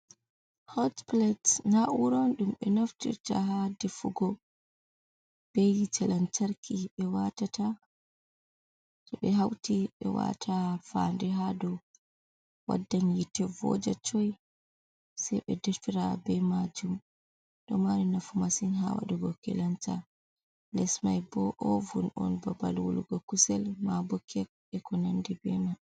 Hot pilates nawuron dum be naftirta ha defugo, Be hite lantarki be hauti be wata fa'ande ha dau. Waddan hite voja coi. Sai be deffira be majum. Ɗo mari nafu masin ha wadugo kelanta. Les mai bo ovun on, babal wolugo kusel ma bo kek, be ko nandi be mai.